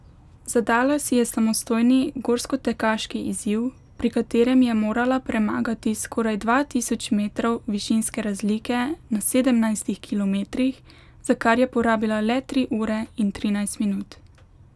Zadala si je samostojni gorskotekaški izziv, pri katerem je morala premagati skoraj dva tisoč metrov višinske razlike na sedemnajstih kilometrih, za kar je porabila le tri ure in trinajst minut.